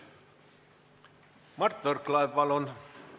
Mart Võrklaev, palun!